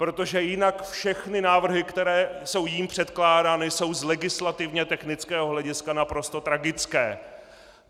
Protože jinak všechny návrhy, které jsou jím předkládány, jsou z legislativně technického hlediska naprosto tragické.